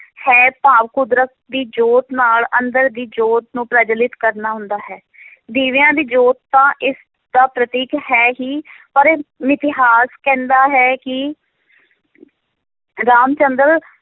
ਹੈ ਭਾਵ ਕੁਦਰਤ ਦੀ ਜੋਤ ਨਾਲ ਅੰਦਰ ਦੀ ਜੋਤ ਨੂੰ ਪ੍ਰਜਵੱਲਿਤ ਕਰਨਾ ਹੁੰਦਾ ਹੈ ਦੀਵਿਆਂ ਦੀ ਜੋਤ ਤਾਂ ਇਸ ਦਾ ਪ੍ਰਤੀਕ ਹੈ ਹੀ ਪਰ ਮਿਥਿਹਾਸ ਕਹਿੰਦਾ ਹੈ ਕਿ ਰਾਮ ਚੰਦਰ